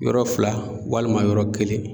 Yɔrɔ fila walima yɔrɔ kelen